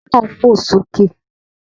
Àwọn ọmọ náà ń fò sókè.